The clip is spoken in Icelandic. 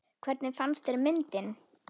Hvernig fannst þér myndin?